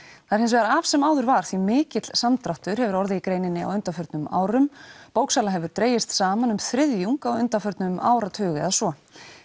það er hins vegar af sem áður var því mikill samdráttur hefur orðið í greininni á undanförnum árum bóksala hefur dregist saman um þriðjung á undanförnum áratug eða svo